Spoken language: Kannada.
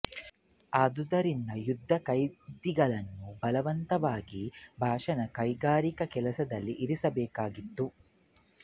ಆದ್ದರಿಂದ ಯುದ್ಧ ಖೈದಿಗಳನ್ನು ಬಲವಂತವಾಗಿ ಬಾಷ್ ನ ಕೈಗಾರಿಕ ಕೆಲಸದಲ್ಲಿರಿಸಬೇಕಾಗಿತ್ತು